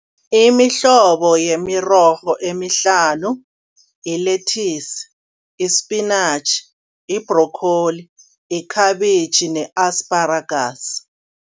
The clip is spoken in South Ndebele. Imihlobo yemirorho emihlanu yi-lethisi, ispinatjhi, i-broccoli, ikhabitjhi ne-asitaragasi.